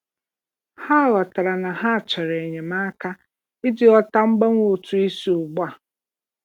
Ha ghọtara na ha chọrọ enyemaka iji ghọta mgbanwe ụtụ isi ugbu a.